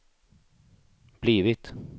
blivit